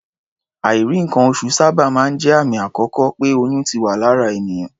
Àìrí nǹkan-oṣù sábà máa ń jẹ́ àmì àkọ́kọ́ pé oyún ti wà lára ènìyàn.